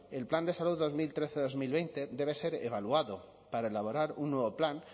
el plan de salud dos mil trece dos mil veinte debe ser evaluado para elaborar un nuevo plan